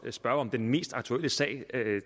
må spørge om den mest aktuelle sag